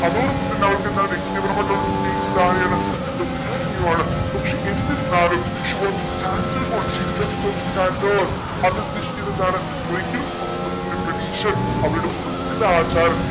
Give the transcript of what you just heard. അതോടൊപ്പം തന്നെ അവൾക്കെന്താ വ്യക്തിപരമായിട്ട് അവൾ സ്നേഹിച്ചത് ആരെയാണ് ബെസാനിയോ ആണ് പക്ഷെ എന്തിരുന്നാലും അതുദ്ദേശിക്കുന്നതെന്താണ് ഒരിക്കലും കുടുംബത്തിന്റെ പ്രതീക്ഷയെ അവരുടെ കുടുംബത്തിന്റെ ആചാരം